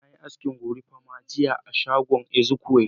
Na yi asken gorimapa jiya a shagon Ezekiyel.